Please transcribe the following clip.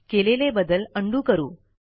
केलेले बदल उंडो करू